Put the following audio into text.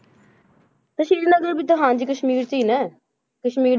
ਤੇ ਸ੍ਰੀਨਗਰ ਵੀ ਤਾਂ ਹਾਂਜੀ ਕਸ਼ਮੀਰ 'ਚ ਹੀ ਨਾ ਕਸ਼ਮੀਰ,